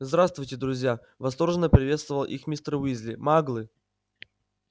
здравствуйте друзья восторженно приветствовал их мистер уизли маглы